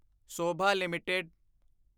Sobha LTD